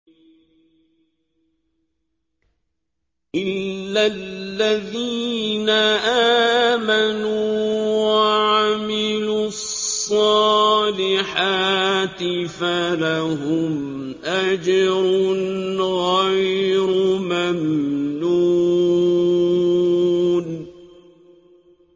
إِلَّا الَّذِينَ آمَنُوا وَعَمِلُوا الصَّالِحَاتِ فَلَهُمْ أَجْرٌ غَيْرُ مَمْنُونٍ